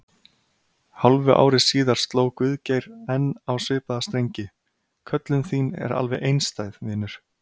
Hálfu ári síðar sló Guðgeir enn á svipaða strengi: Köllun þín er alveg einstæð, vinur.